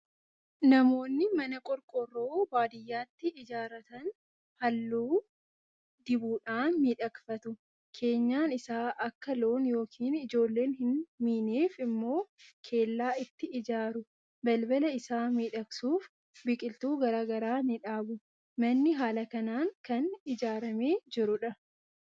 Namoonni mana qorqoorroo baadiyyaatti ijaaratan halluu dibuudhaan miidhagfatu. Keenyan isaa akka loon yookiin ijoolleen hin miineef immoo kellaa itti ijaaru. Balbala isaa miidhagsuuf biqiltuu garaa garaa ni dhaabu. Manni haala kanaan kan ijaaramee jirudha.